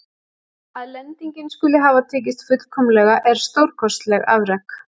Að lendingin skuli hafa tekist fullkomlega er stórkostleg afrek.